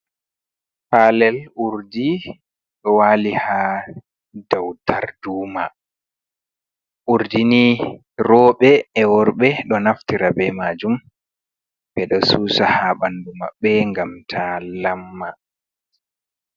Palel urdi do wali ha daw darduma urdini roɓe e worɓe ɗo naftira be majum ɓeɗo susa ha bandu maɓɓe ngam ta lamma.